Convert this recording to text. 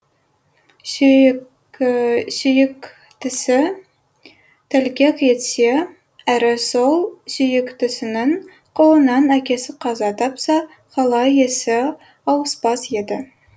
сүйіктісі тәлкек етсе әрі сол сүйіктісінің қолынан әкесі қаза тапса қалай есі ауыспас еді